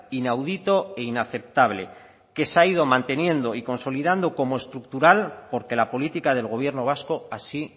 inaudito e inaceptable que se ha ido manteniendo y consolidando como estructural porque la política del gobierno vasco así